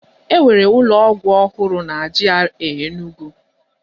E nwere ụlọ ọgwụ ọhụrụ na GRA Enugwu